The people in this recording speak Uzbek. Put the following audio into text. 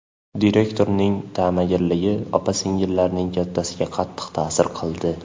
Direktorning tamagirligi opa-singillarning kattasiga qattiq ta’sir qildi.